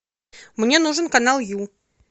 мне нужен канал ю